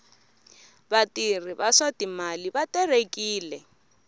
vatirhi va swa timali va terekile